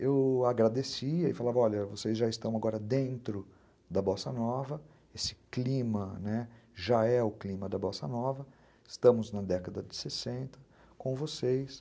Eu agradecia e falava, olha, vocês já estão agora dentro da Bossa Nova, esse clima já é o clima, né, já é o clima da Bossa Nova, estamos na década de sessenta, com vocês.